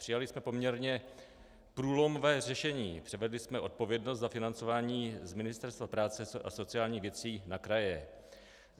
Přijali jsme poměrně průlomové řešení, převedli jsme odpovědnost za financování z Ministerstva práce a sociálních věcí na kraje.